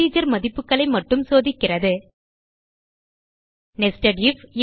integer மதிப்புகளை மட்டும் சோதிக்கிறது நெஸ்டட் ஐஎஃப்